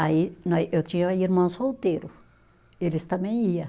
Aí nós, eu tinha irmão solteiro, eles também ia.